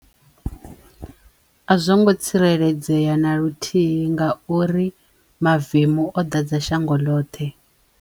A zwo ngo tsireledzeya na luthihi ngauri mavemu o ḓadza shango ḽoṱhe.